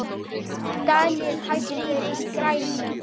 Dagnýr, hækkaðu í græjunum.